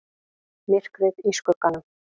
MYRKRIÐ Í SKUGGANUM